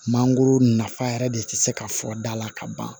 Mangoro nafa yɛrɛ de tɛ se ka fɔ da la ka ban